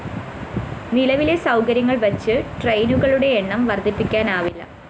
നിലവിലെ സൗകര്യങ്ങള്‍ വച്ച് ട്രെയിനുകളുടെ എണ്ണം വര്‍ദ്ധിപ്പിക്കാനാവില്ല